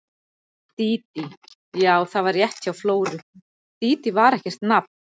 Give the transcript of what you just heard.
Dídí, já, það var rétt hjá Flóru, Dídí var ekkert nafn.